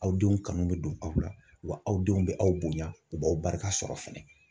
Aw denw kanu bɛ don aw la, wa aw denw bɛ aw bonya, u b'aw barika sɔrɔ fɛnɛ.